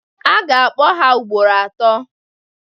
A ga-kpọ ha ugboro atọọ.